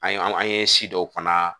An ye an ye si dɔw fana